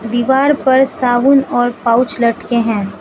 दीवार पर साबुन और पाउच लटके हैं।